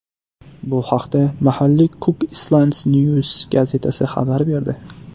Bu haqda mahalliy Cook Islands News gazetasi xabar berdi .